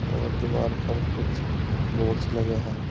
और दीवार पर कुछ बोर्ड्स लगे हैं।